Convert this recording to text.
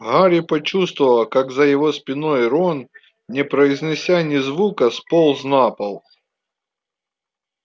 гарри почувствовал как за его спиной рон не произнеся ни звука сполз на пол